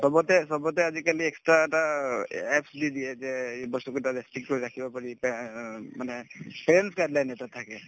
চবতে চবতে আজিকালি extra এটা a apps দি দিয়ে যে এই বস্তুকেইটা কৰি ৰাখিব পাৰি মানে এটা থাকে